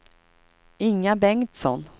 Inga Bengtsson